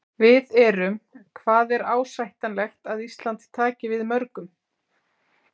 Við erum, hvað er ásættanlegt að Ísland taki við mörgum?